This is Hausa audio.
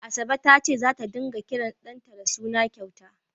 Asabe ta ce zata ringa kiran ɗanta da suna kyauta.